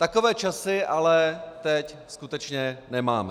Takové časy ale teď skutečně nemáme.